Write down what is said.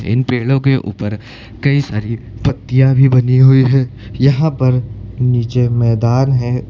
इन पेड़ों के ऊपर कई सारी पत्तियां भी बनी हुई हैं यहां पर नीचे मैदान है।